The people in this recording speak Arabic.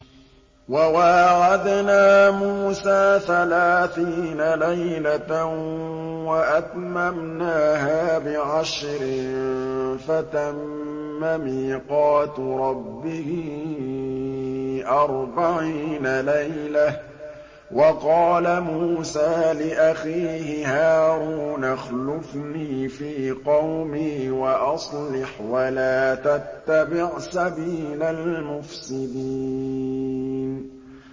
۞ وَوَاعَدْنَا مُوسَىٰ ثَلَاثِينَ لَيْلَةً وَأَتْمَمْنَاهَا بِعَشْرٍ فَتَمَّ مِيقَاتُ رَبِّهِ أَرْبَعِينَ لَيْلَةً ۚ وَقَالَ مُوسَىٰ لِأَخِيهِ هَارُونَ اخْلُفْنِي فِي قَوْمِي وَأَصْلِحْ وَلَا تَتَّبِعْ سَبِيلَ الْمُفْسِدِينَ